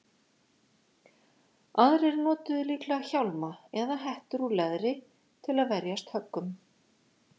Aðrir notuðu líklega hjálma eða hettur úr leðri til að verjast höggum.